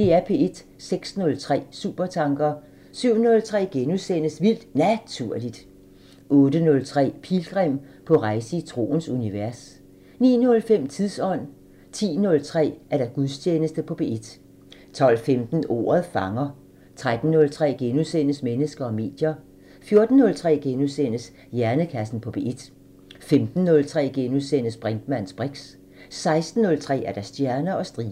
06:03: Supertanker 07:03: Vildt Naturligt * 08:03: Pilgrim – på rejse i troens univers 09:05: Tidsånd 10:03: Gudstjeneste på P1 12:15: Ordet fanger 13:03: Mennesker og medier * 14:03: Hjernekassen på P1 * 15:03: Brinkmanns briks * 16:03: Stjerner og striber